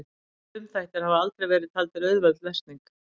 Frumþættir hafa aldrei verið taldir auðveld lesning.